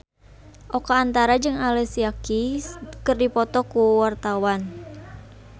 Oka Antara jeung Alicia Keys keur dipoto ku wartawan